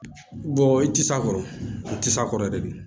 i ti s'a kɔrɔ o tɛ s'a kɔrɔ dɛ